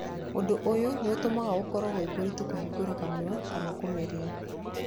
Ũndũ ũyũ nĩ ũtũmaga gũkorwo gwĩ kũritu kũhingũra kanua kana kũmeria.